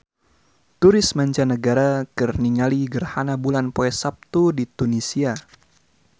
Turis mancanagara keur ningali gerhana bulan poe Saptu di Tunisia